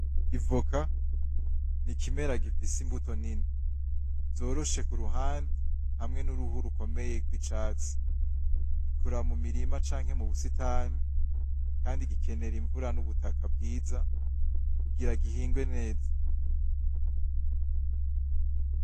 Ivoka n'ikimera gifise imbuto nini, zoroshe kuruhande hamwe nuruhu rukomeye rw'icatsi. Rikura mu mirima canke mu busitani kandi gikenera imvura nubutaka bwiza kugira gihingwe neza.